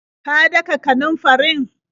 Ka daka kanunfarin?